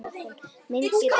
Mynd getur átt við